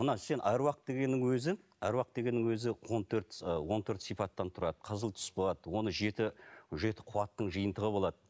мына сен аруақ дегеннің өзі аруақ дегеннің өзі он төрт ы он төрт сипаттан тұрады қызыл түс болады оны жеті жеті қуаттың жиынтығы болады